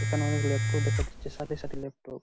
এখানে অনেক ল্যাপটপ দেখা যাচ্ছে সারি সারি ল্যাপটপ ।